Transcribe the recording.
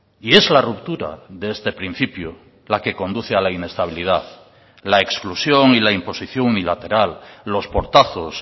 y es la ruptura de este principio la que conduce a la inestabilidad la exclusión y la imposición unilateral los portazos